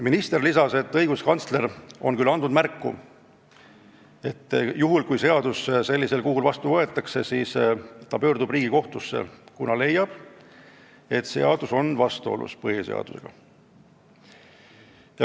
Minister lisas, et õiguskantsler on andnud märku, et juhul kui seadus sellisel kujul vastu võetakse, pöördub tema Riigikohtusse, sest leiab, et seadus on vastuolus põhiseadusega.